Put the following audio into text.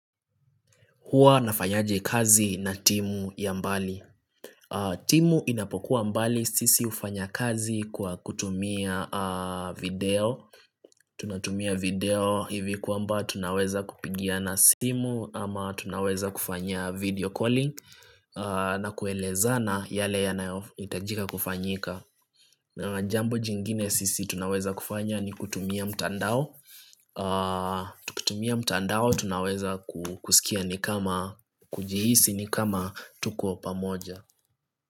Huwa nafanyaje kazi na timu ya mbali timu inapokuwa mbali sisi hufanya kazi kwa kutumia video tunatumia video hivi kwamba tunaweza kupigiana simu ama tunaweza kufanya video calling na kuelezana yale yanayohitajika kufanyika Jambo jingine sisi tunaweza kufanya ni kutumia mtandao Tukitumia mtaandao tunaweza kusikia ni kama kujihisi ni kama tuko pamoja.